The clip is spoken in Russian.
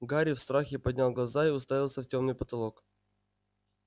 гарри в страхе поднял глаза и уставился в тёмный потолок